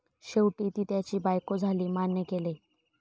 शेवटी, ती त्याची बायको झाली मान्य केले.